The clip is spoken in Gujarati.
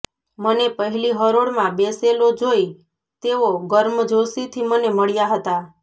મને પહેલી હરોળમાં બેસેલો જોઈ તેઓ ગર્મજોશીથી મને મળ્યાં હતા